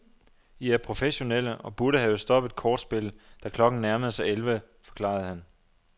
I er professionelle og burde have stoppet kortspillet, da klokken nærmere sig elleve, forklarede han.